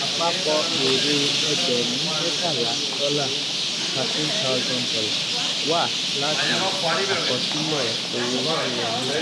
àpapọ̀ èrè ẹgbẹ̀rún mẹ́tàlá dọ́là thirteen thousand dolar wá láti àkọsílẹ̀ owó tó wolẹ́.